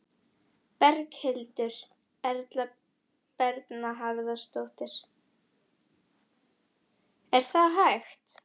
Berghildur Erla Bernharðsdóttir: Er það hægt?